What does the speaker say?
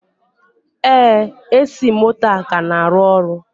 Ee, AC moto a ka na-arụ ọrụ.